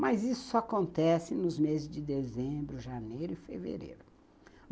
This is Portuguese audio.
Mas isso só acontece nos meses de dezembro, janeiro e fevereiro.